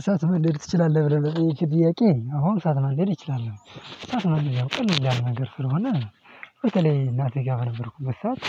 እሳት መንደድ ትችላለህ? ብለህ ለጠየከኝ ጥያቄ አሁን እሳት ማንደድ ይችላል እሳት መንደድ ያው ቀለል ያለነገር ነገር ስለሆነ በተለይ እናቴ ጋር በነበርኩበት ሰዓት